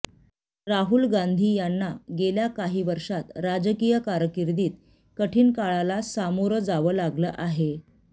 राहुल गांधी यांना गेल्या काही वर्षांत राजकीय कारकीर्दीत कठीण काळाला सामोरं जावं लागलं आहे